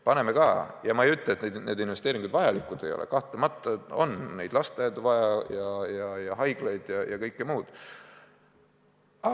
Paneme ka, ja ma ei ütle, et need investeeringud ei ole vajalikud, kahtlemata on neid lasteaedu, haiglaid ja kõike muud vaja.